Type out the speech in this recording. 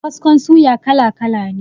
Kaskon suya kala kala ne.